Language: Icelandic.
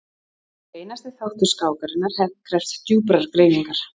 Hver einasti þáttur skákarinnar krefst djúprar greiningar.